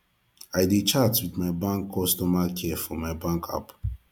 i dey chat wit my bank customer care for my bank app